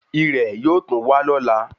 Irẹ̀ yóò tún wa lóla